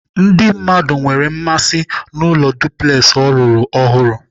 Ndị mmadụ nwere mmasị n'ụlọ duplex ọ rụrụ ọhụrụ.